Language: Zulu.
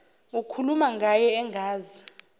ukhuluma ngaye engazi